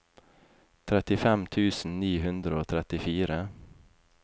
trettifem tusen ni hundre og trettifire